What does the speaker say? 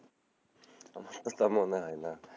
তা মনে হয় না,